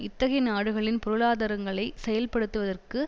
இத்தகைய நாடுகளின் பொருளாதாரங்களை செயற்படுத்துவதற்கு